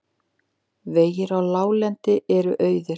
Vegir á láglendi eru auðir